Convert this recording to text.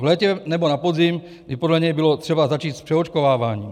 V létě nebo na podzim by podle něj bylo třeba začít s přeočkováváním.